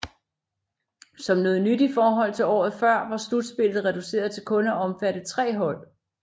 Som noget nyt i forhold til året før var slutspillet reduceret til kun at omfatte tre hold